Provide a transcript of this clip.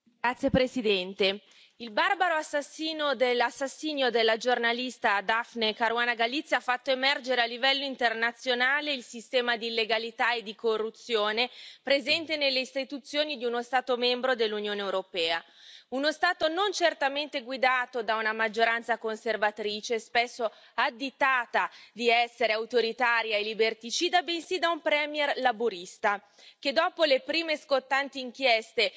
Signor Presidente, onorevoli colleghi, il barbaro assassinio della giornalista Daphne Caruana Galizia ha fatto emergere a livello internazionale il sistema di illegalità e di corruzione presente nelle istituzioni di uno Stato membro dell'Unione europea. Uno Stato non certamente guidato da una maggioranza conservatrice, spesso additata di essere autoritaria e liberticida, bensì da un premier laburista, che dopo le prime scottanti inchieste